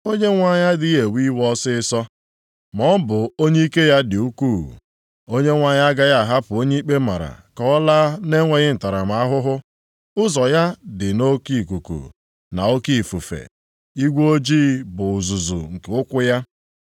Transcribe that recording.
Onyenwe anyị adịghị ewe iwe ọsịịsọ; ma ọ bụ onye ike ya dị ukwuu, Onyenwe anyị agaghị ahapụ onye ikpe mara ka ọ laa na-enweghị ntaramahụhụ. Ụzọ ya dị nʼoke ikuku, na nʼoke ifufe, igwe ojii bụ uzuzu nke ụkwụ ya.